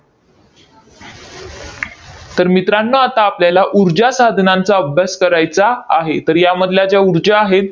तर मित्रांनो आता आपल्याला ऊर्जा साधनांचा अभ्यास करायचा आहे. तर यामधल्या ज्या ऊर्जा आहेत,